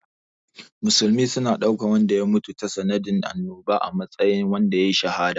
Musulmi suna ɗaukan wanda ya mutu tasa nadin annoba a matsayin wanda yayi shahada.